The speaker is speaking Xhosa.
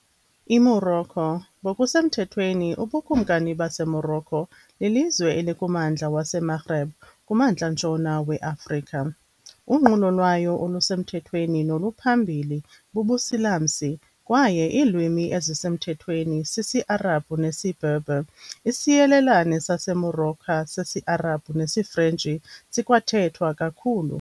IMorocco ngokusemthethweni uBukumkani baseMorocco, lilizwe elikummandla waseMaghreb kuMntla-ntshona weAfrika. Unqulo lwayo olusemthethweni noluphambili bubuSilamsi, kwaye iilwimi ezisemthethweni sisiArabhu nesiBerber, Isiyelelane saseMorocco sesiArabhu nesiFrentshi sikwathethwa kakhulu.